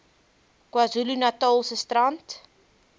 kwazulu natalse strand